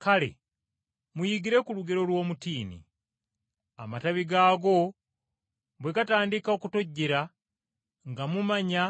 “Kale muyigire ku lugero lw’omutiini. Amatabi gaagwo bwe gatandika okutojjera nga mumanya